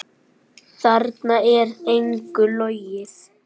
Þarna er engu logið.